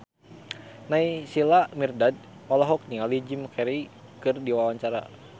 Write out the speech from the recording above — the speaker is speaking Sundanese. Naysila Mirdad olohok ningali Jim Carey keur diwawancara